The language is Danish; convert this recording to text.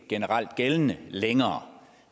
generelt gældende længere